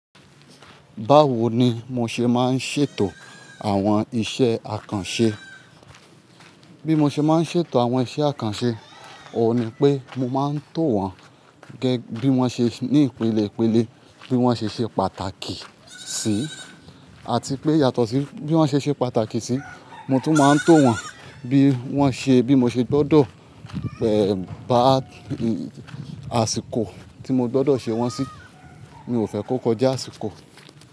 Báwo ni mo ṣe máa ń ṣètò àwọn iṣẹ́ àkànṣe? Bí mo ṣe máa ń ṣètò àwọn iṣẹ́ àkànṣe, òun ni pé mo máa ń tò wọ́n gẹ́gẹ́ bí wọ́n ṣe ní ìpele ìpele, bí wọ́n ṣe ṣe pàtàkì sí, àti pé yàtọ̀ sí bí wọ́n ṣe ṣe pàtàkì sí, mo tún máa ń tò wọ́n bí wọ́n ṣe, bí mo ṣe gbọ́dọ̀, bá àsìkò tí mo gbọ́dọ̀ ṣe wọ́n sí, mi ò fẹ́ kó kọjá àsìkò.